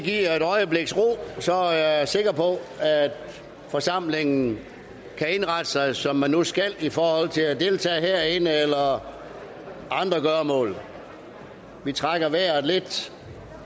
et øjebliks ro er jeg sikker på at forsamlingen kan indrette sig som man nu skal i forhold til at deltage herinde eller andre gøremål vi trækker vejret lidt